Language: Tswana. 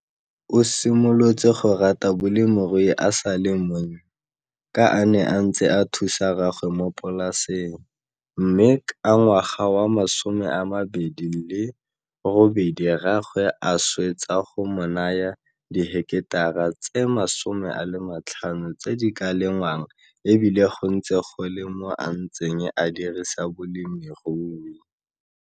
O simolotse go rata bolemirui a sa le monnye ka a ne a ntse a thusa rraagwe mo polaseng, mme ka 2008 rraagwe a swetsa go mo naya diheketara tse 50 tse di ka lengwang e bile go ntse go le mo a ntseng a dirisa bolemirui.